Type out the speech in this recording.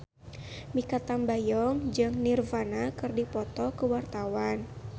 Mikha Tambayong jeung Nirvana keur dipoto ku wartawan